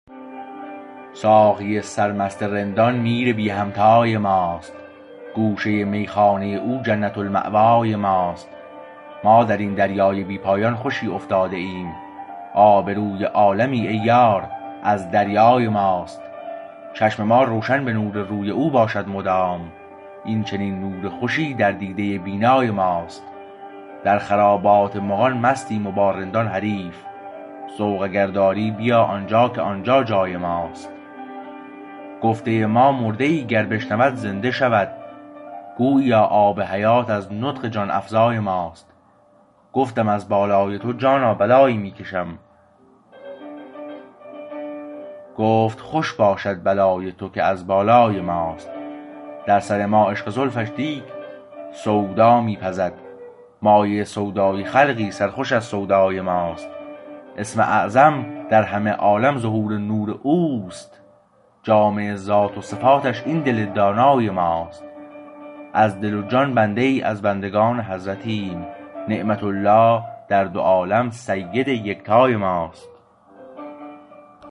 ساقی سرمست رندان میر بی همتای ماست گوشه میخانه او جنت المأوای ماست ما درین دریای بی پایان خوشی افتاده ایم آبروی عالمی ای یار از دریای ماست چشم ما روشن به نور روی او باشد مدام این چنین نور خوشی در دیده بینای ماست در خرابات مغان مستیم و با رندان حریف ذوق اگرداری بیا آنجا که آنجا جای ماست گفته ما مرده ای گر بشنود زنده شود گوییا آب حیات از نطق جان افزای ماست گفتم از بالای تو جانا بلایی می کشم گفت خوش باشد بلای تو که از بالای ماست در سر ما عشق زلفش دیگ سودا می پزد مایه سودای خلقی سرخوش از سودای ماست اسم اعظم در همه عالم ظهور نور او است جامع ذات و صفاتش این دل دانای ماست از دل و جان بنده ای از بندگان حضرتیم نعمت الله در دو عالم سید یکتای ماست